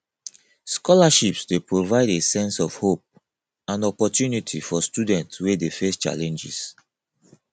scholarships dey provide a sense of hope and opportunity for students wey dey face challenges